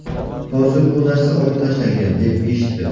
Hozir bu narsa olib tashlangan, deb eshitdim.